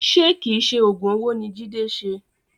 Ṣe kìí ṣe oògùn owó ni Jide ṣe?